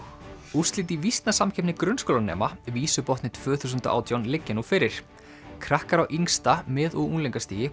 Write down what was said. úrslit í grunnskólanema tvö þúsund og átján liggja nú fyrir krakkar á yngsta mið og unglingastigi